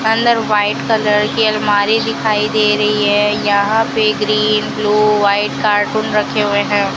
अंदर white colour की अलमारी दिखाई दे रही है यहां पे ग्रीन ब्ल्यू व्हाइट कार्टून रखे हुए है।